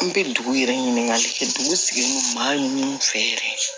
An bɛ dugu yɛrɛ ɲinikali kɛ dugu sigilen don maa ɲini fɛ yɛrɛ